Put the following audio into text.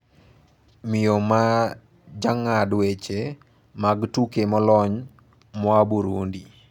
miyo ma jang`ad weche mag tuke molony moa Burundi